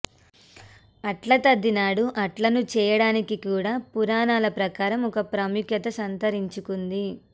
అట్లతద్ది నాడు అట్లను చేయడానికి కూడా పురాణాల ప్రకారం ఒక ప్రాముఖ్యత సంతరించుకుంది